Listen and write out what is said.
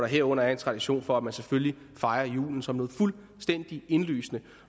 herunder en tradition for at man selvfølgelig fejrer julen som noget fuldstændig indlysende